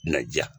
Na ja